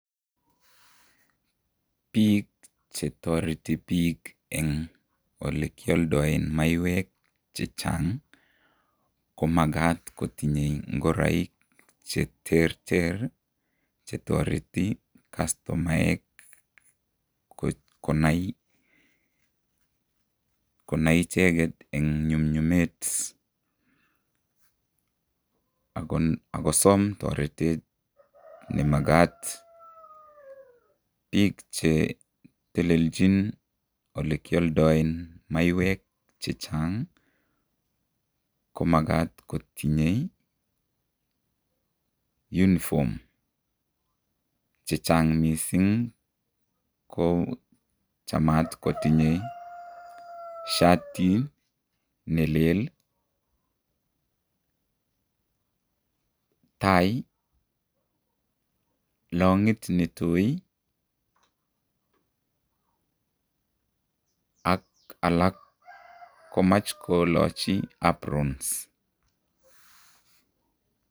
Bik chetoreti bik eng olekyaldae maiywek chechang ko makat kotinye ngoraik chechang cheterter chetoreti castomaek konai icheket eng nyumnyumet, ako som toretet nemakat, bik chetelelchin olekyaldae maywek chechang ko makat kotinye uniform chechang, ak mising ko chamat kotinye shatit ne lel , tai , longit netui ak alak komache kolacho aprons.